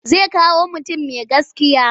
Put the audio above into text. Zai kawo mutum mai gaskiya.